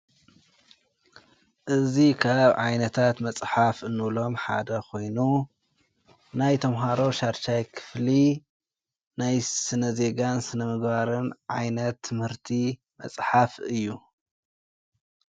እዙ ኻብ ዓይነታት መጽሓፍ እኖሎም ሓደ ኾይኑ ናይ ቶምሃሮ ሻርሻይ ክፍሊ ናይ ስነ ዜጋን ስነምግባርን ዓይነት ትምህርቲ መጽሓፍ እዩ::